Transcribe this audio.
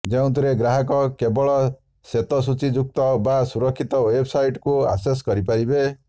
ଯେଉଁଥିରେ ଗ୍ରାହକ କେବଳ ସ୍ୱେତସୁଚୀଯୁକ୍ତ ବା ସୁରକ୍ଷିତ ୱେବ୍ସାଇଟ୍କୁ ଆକ୍ସେସ୍ କରିପାରିବେ